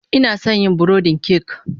Ina son yin burodin kek